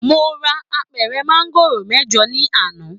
Mo ra àpẹrẹ maangoro mẹjọ ní àná.